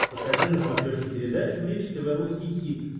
покажи на смотрешке передачу бридж тв русский хит